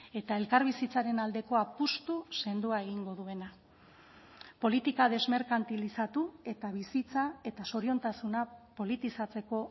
eta elkarbizitzaren aldeko apustu sendoa egingo duena politika desmerkantilizatu eta bizitza eta zoriontasuna politizatzeko